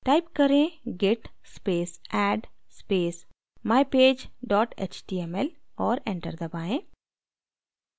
type करें: git space add space mypage dot html और enter दबाएँ